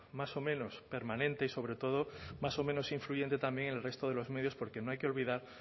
más o menos permanente y sobre todo más o menos influyente también en el resto de los medios porque no hay que olvidar